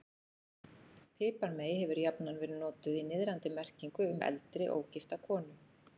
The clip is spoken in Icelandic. Piparmey hefur jafnan verið notað í niðrandi merkingu um eldri, ógifta konu.